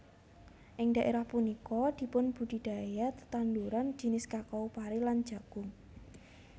Ing dhaerah punika dipunbudidaya tetanduran jinis kakao pari lan jagung